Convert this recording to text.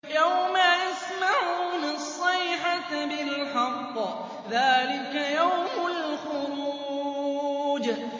يَوْمَ يَسْمَعُونَ الصَّيْحَةَ بِالْحَقِّ ۚ ذَٰلِكَ يَوْمُ الْخُرُوجِ